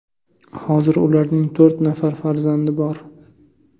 Hozir ularning to‘rt nafar farzandi bor.